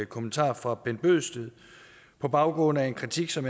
kommentar fra bent bøgsted på baggrund af en kritik som